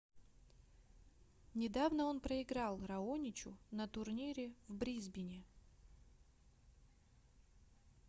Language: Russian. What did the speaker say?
недавно он проиграл раоничу на турнире в брисбене